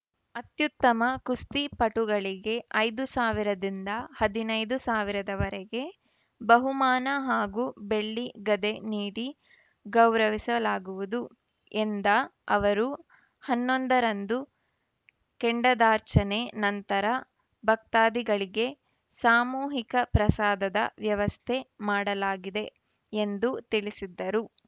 ಅತ್ಯುತ್ತಮ ಕುಸ್ತಿ ಪಟುಗಳಿಗೆ ಐದು ಸಾವಿರದಿಂದ ಹದಿನೈದು ಸಾವಿರದವರೆಗೆ ಬಹುಮಾನ ಹಾಗೂ ಬೆಳ್ಳಿ ಗದೆ ನೀಡಿ ಗೌರಸಲಾಗುವುದು ಎಂದ ಅವರು ಹನ್ನೊಂದ ರಂದು ಕೆಂಡದಾರ್ಚನೆ ನಂತರ ಭಕ್ತಾಧಿಗಳಿಗೆ ಸಾಮೂಹಿಕ ಪ್ರಸಾದದ ವ್ಯವಸ್ಥೆ ಮಾಡಲಾಗಿದೆ ಎಂದು ತಿಳಿಸಿದರು